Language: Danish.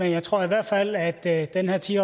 jeg tror i hvert fald at at den her ti